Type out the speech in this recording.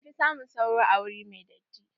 An fi samun sauro a wuri mai datti.